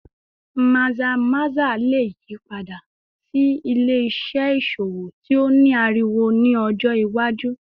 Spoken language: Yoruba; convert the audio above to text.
Maza-maza le yipada si ile-iṣẹ iṣowo ti o ni ariwo ni ọjọ iwaju